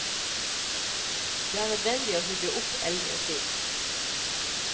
Det er nødvendig å hugge opp eldre skip.